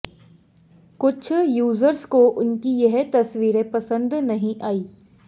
कुछ यूजर्स को उनकी ये तस्वीरें पसंद नहीं आईं